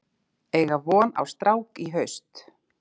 Eiga von á strák í haust